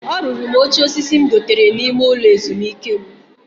O ruru m oche osisi m dotere n'ime ulo ezumike m.